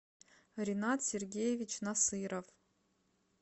ренат сергеевич насыров